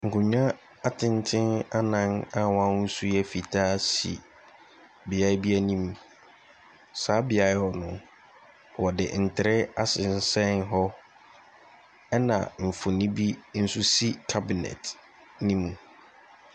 Nkonnwa atenten anan a wɔn su yɛ fitaa si beaeɛ bi anim. Saa beaeɛ hɔ no, wɔde ntere asensɛn hɔ ɛna mfonin bi nso si cabnet no mu.